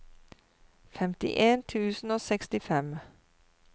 femtien tusen og sekstifem